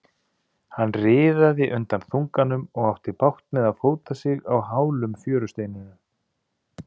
Hann riðaði undan þunganum og átti bágt með að fóta sig á hálum fjörusteinunum.